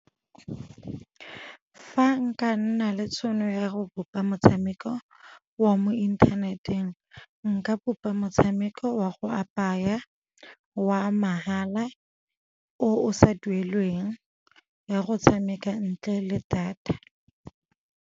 Fa nka nna le tšhono ya go bopa motshameko wa mo inthaneteng, nka bopa motshameko wa go apaya wa mahala o o sa duelelweng, wa go tshameka ntle le data.